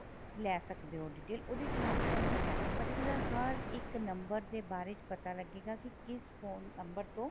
ਲੈ ਸਕਦੇ ਓ detail ਉਹਦੇ ਚ mam ਤੁਹਾਨੂੰ particular ਹਰ ਇੱਕ ਨੰਬਰ ਦੇ ਬਾਰੇ ਚ ਪਤਾ ਲੱਗੇ ਗਾ ਕੀ ਕਿਸ phone ਨੰਬਰ ਤੋਂ